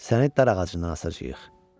Səni darağacından asacağıq.